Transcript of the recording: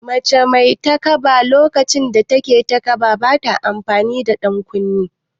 Mace mai takaba a lokacin da take taƙaba bata amfani da ɗan ƙunne